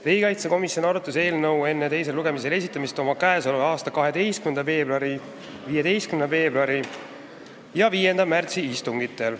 Riigikaitsekomisjon arutas eelnõu enne teisele lugemisele esitamist oma k.a 12. veebruari, 15. veebruari ja 5. märtsi istungil.